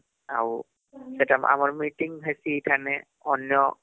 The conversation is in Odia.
ଆଉ ସେଟା ଆମର meeting ହେସି ଏଇ ଠାଣେ ଅନ୍ୟ